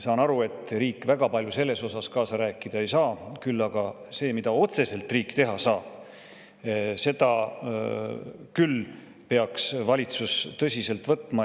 Saan aru, et riik väga palju selles osas kaasa rääkida ei saa, küll aga seda, mida otseselt riik teha saab, peaks valitsus tõsiselt võtma.